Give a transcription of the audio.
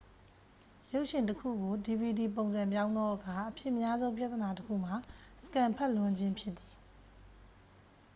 ရုပ်ရှင်တစ်ခုကို dvd ပုံစံပြောင်းသောအခါ အဖြစ်များဆုံးပြဿနာတစ်ခုမှာ စကင်န်ဖတ်လွန်ခြင်းဖြစ်သည်